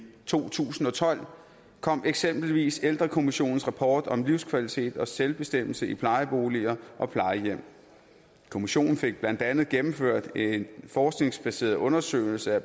to tusind og tolv kom eksempelvis ældrekommissionens rapport om livskvalitet og selvbestemmelse i plejeboliger og plejehjem kommissionen fik blandt andet gennemført en forskningsbaseret undersøgelse af